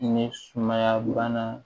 Ni sumaya bana